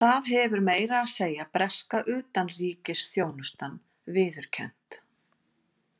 Það hefur meira að segja breska utanríkisþjónustan viðurkennt.